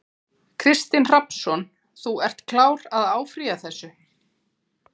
Kristinn Hrafnsson: Þú ert klár á að áfrýja þessu?